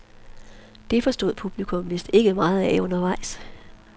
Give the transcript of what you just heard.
Det forstod publikum vist ikke meget af undervejs.